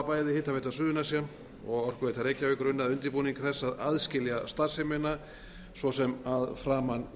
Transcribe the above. bæði hitaveita suðurnesja og orkuveita reykjavíkur unnið að undirbúningi þess að aðskilja starfsemina svo sem að framan